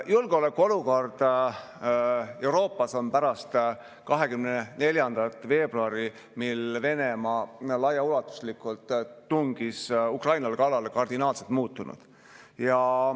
Julgeolekuolukord Euroopas on pärast 24. veebruari, kui Venemaa laiaulatuslikult tungis Ukrainale kallale, kardinaalselt muutunud.